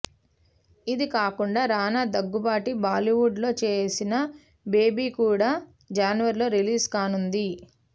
ఇది కాకుండా రానా దగ్గుబాటి బాలీవుడ్ లో చేసిన బేబీ కూడా జనవరిలో రిలీజ్ కానుంది